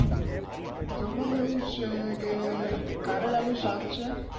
જમવા માં એવું છે કે કરેલા નું શાક છે